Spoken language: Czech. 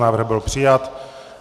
Návrh byl přijat.